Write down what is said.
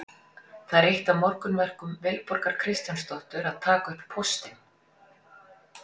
Það er eitt af morgunverkum Vilborgar Kristjánsdóttur að taka upp póstinn.